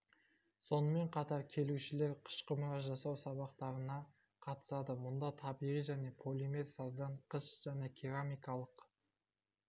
сонымен қатар келушілер қыш құмыра жасау сабақтарына қатысады мұнда табиғи және полимер саздан қыш және керамикалық